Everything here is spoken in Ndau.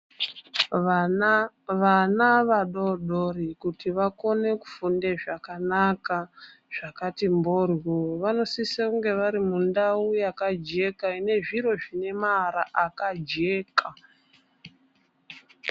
Vana vadodori kuti vakona kufunde zvakanaka zvakati ndloryo vanosise kunga vari mundao yakajeka ine zviro zvine maara akajeka .